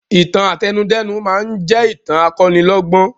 Ìtàn àtẹnudẹ́nu máa ń jẹ ìtàn akọ́nilọ́gbọ́n